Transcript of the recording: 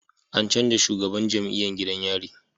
An canja shugaban jam'iyan gidan yari